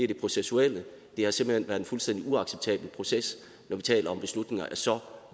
det processuelle det har simpelt hen været en fuldstændig uacceptabel proces når vi taler om beslutninger af så